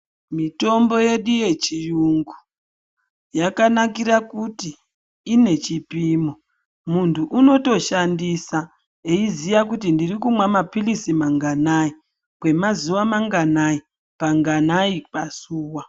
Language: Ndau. Mitombo yedu yechiyungu yakanakira kuti ine chipimo muntu unotoshandisa eiziya kuti ndirikunwa mapilizi manganai, kwemazuwa manganai kanganai pazuwa.